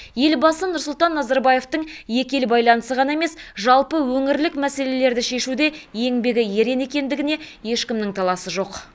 елбасы нұрсұлтан назарбаевтың екі ел байланысы ғана емес жалпы өңірлік мәселелерді шешуде еңбегі ерен екендігіне ешкімнің таласы жоқ